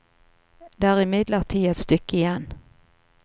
Det er imidlertid et stykke igjen.